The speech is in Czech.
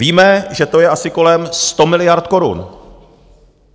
Víme, že to je asi kolem 100 miliard korun.